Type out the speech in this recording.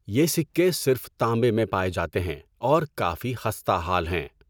یہ سکے صرف تانبے میں پائے جاتے ہیں اور کافی خستہ حال ہیں۔